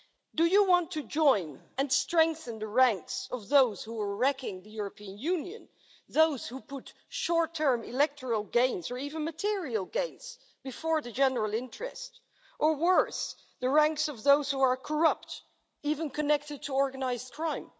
Do you want to join and strengthen the ranks of those who are wrecking the European Union, those who put short term electoral gains, or even material gains, before the general interest or worse, the ranks of those who are corrupt, even connected to organised crime?